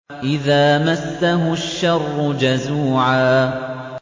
إِذَا مَسَّهُ الشَّرُّ جَزُوعًا